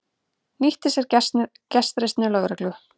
Nýtti sér gestrisni lögreglu